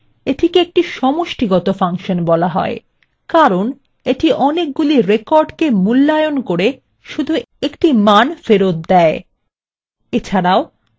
এটিকে একটি সমষ্টিগত ফাংশন বলা হয় কারণ এটি অনেকগুলি records মূল্যায়নের করে শুধু একটা মান ফেরত দেয়